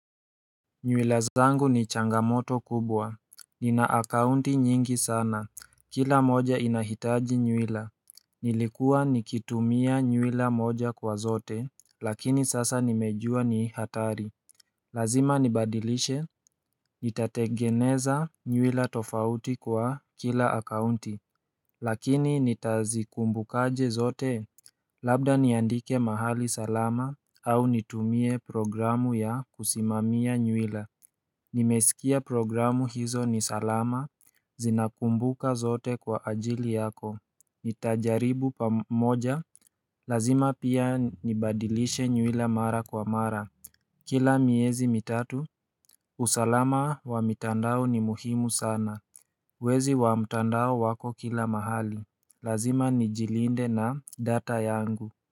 Nywila zangu ni changamoto kubwa Nina akaunti nyingi sana Kila moja inahitaji nywila Nilikuwa nikitumia nywila moja kwa zote Lakini sasa nimejua ni hatari Lazima nibadilishe Nitategeneza nywila tofauti kwa kila akaunti Lakini nitazikumbukaje zote Labda niandike mahali salama au nitumie programu ya kusimamia nywila Nimesikia programu hizo ni salama, zinakumbuka zote kwa ajili yako Nitajaribu pamoja, lazima pia nibadilishe nywila mara kwa mara Kila miezi mitatu, usalama wa mitandao ni muhimu sana Wezi wa mitandao wako kila mahali, lazima nijilinde na data yangu.